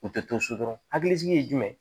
U tɛ to so dɔrɔn hakilisigi ye jumɛn